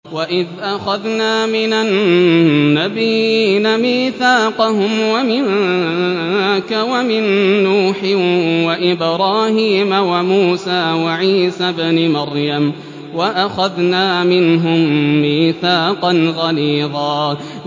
وَإِذْ أَخَذْنَا مِنَ النَّبِيِّينَ مِيثَاقَهُمْ وَمِنكَ وَمِن نُّوحٍ وَإِبْرَاهِيمَ وَمُوسَىٰ وَعِيسَى ابْنِ مَرْيَمَ ۖ وَأَخَذْنَا مِنْهُم مِّيثَاقًا غَلِيظًا